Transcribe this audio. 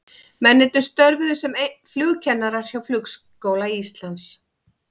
Mennirnir störfuðu sem flugkennarar hjá Flugskóla Íslands.